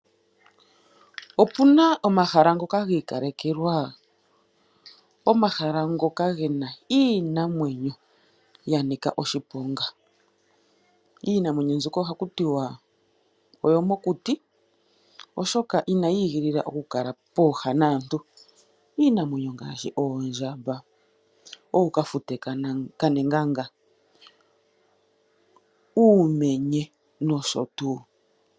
Opuna omahala ngoka giikalekelwa , ngoka gena iinamwenyo yanika oshiponga . Iinima mbika ohaku tiwa oyo mokuti oshoka inayi igilila okukala pooha naantu . Iinamwenyo ongaashi oondjamba, Ookafute kaNegaga , uumenye noshotuu.